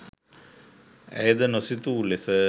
ඇයද නොසිතූ ලෙස